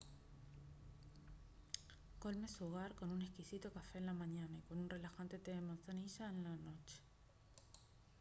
colme su hogar con un exquisito café en la mañana y con un relajante té de manzanilla en la noche